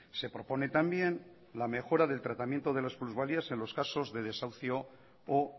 se propone también la mejora del tratamiento de las plusvalías en los casos de desahucio o